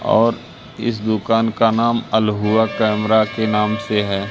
और इस दुकान का नाम अलहुआ कैमरा के नाम से है।